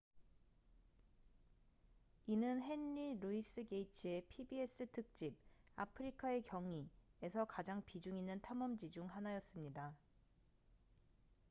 이는 henry louis gates의 pbs 특집 아프리카의 경이'에서 가장 비중 있는 탐험지 중 하나였습니다